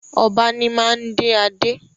Ọba ní ma ń dé adé